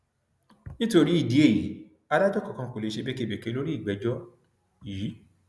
nítorí ìdí èyí adájọ kankan kò lè ṣe békebèke lórí ìgbẹjọ yìí